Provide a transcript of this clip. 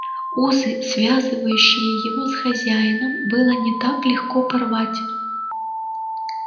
узы связывающие его с хозяином было не так легко порвать